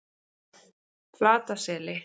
Flataseli